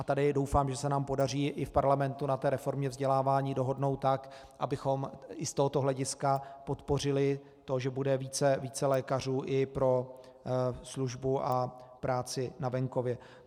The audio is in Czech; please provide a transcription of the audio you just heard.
A tady doufám, že se nám podaří i v parlamentu na té reformě vzdělávání dohodnout tak, abychom i z tohoto hlediska podpořili to, že bude více lékařů i pro službu a práci na venkově.